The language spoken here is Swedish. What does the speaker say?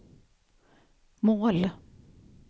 mål